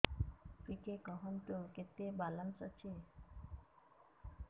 ଟିକେ କୁହନ୍ତୁ କେତେ ବାଲାନ୍ସ ଅଛି